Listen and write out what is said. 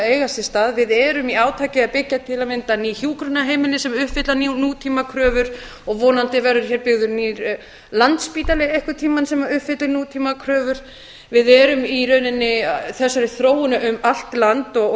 eiga sér stað við erum í átaki að byggja til að mynda ný hjúkrunarheimili sem uppfylla nútímakröfur og vonandi verður hér byggður nýr landspítali einhvern tímann sem uppfyllir nútímakröfur þessi þróun á sér í rauninni stað um allt land og